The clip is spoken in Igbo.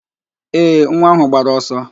Ee, nwa áhụ̀ gbara ọsọ